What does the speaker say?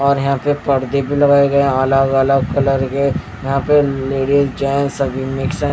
और यहां पे पर्दे भी लगाए गए हैं अलग-अलग कलर के यहां पे लेडीज चाहे सभी मिक्स --